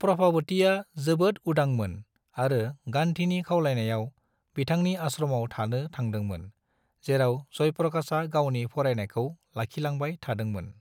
प्रभावतीआ जोबोद उदांमोन आरो गान्धीनि खावलायनायाव, बिथांनि आश्रमाव थानो थांदोंमोन, जेराव जयप्रकाशा गावनि फरायनायखौ लाखिलांबाय थादोंमोन।